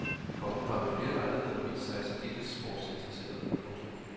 Kongen har ved flere lejligheder vist sig særdeles sportsinteresseret. punktum